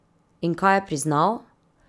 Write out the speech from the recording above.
In kaj je priznal?